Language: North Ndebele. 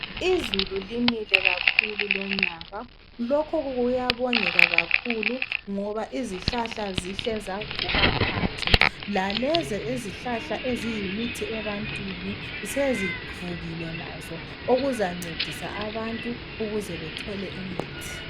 Izulu linile kakhulu lonyaka lokho kuyabongeka kakhulu ngoba izihlahla zihle zavuka khwatshu lalezo izihlahla eziyimithi ebantwini sezivukile lazo okuzancedisa abantu ukuze bethole imithi.